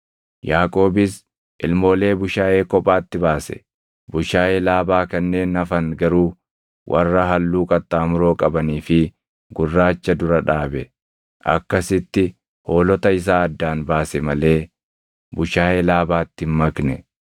Yaaqoobis ilmoolee bushaayee kophaatti baase; bushaayee Laabaa kanneen hafan garuu warra halluu qaxxaamuroo qabanii fi gurraacha dura dhaabe. Akkasitti hoolota isaa addaan baase malee bushaayee Laabaatti hin makne.